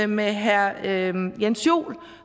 med herre herre jens joel